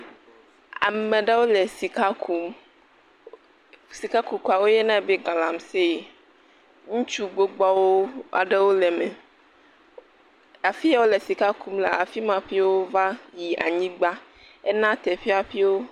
Ame ɖewo le sika kum, sikakukua wo yɔnɛ be galamsee, ŋutsu gbogboawo aɖewo le eme. Afi ya wole sika kum lea, afi ma ƒio va yi anyigba, ena teƒe ƒio...